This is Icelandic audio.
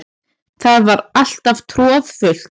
Það var alltaf troðfullt.